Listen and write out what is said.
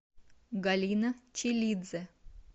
галина челидзе